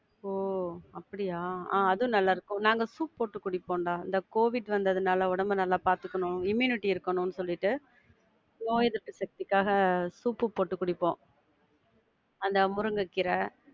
ஒ அப்படியா? ஆஹ் அதுவும் நல்லா இருக்கும். நாங்க soup போட்டு குடிப்போம்டா. அந்த கோவிட் வந்ததுனால உடம்ப நல்லாப்பாத்துக்கணும், immunity இருக்கணும்னு சொல்லிட்டு நோய் எதிர்ப்பு சக்திக்காக soup போட்டு குடிப்போம் அந்த முருங்க கீர.